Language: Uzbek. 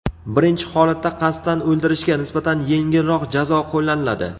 Birinchi holatda qasddan o‘ldirishga nisbatan yengilroq jazo qo‘llaniladi.